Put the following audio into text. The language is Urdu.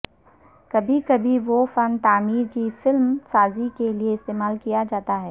کبھی کبھی وہ فن تعمیر کی فلم سازی کے لئے استعمال کیا جاتا ہے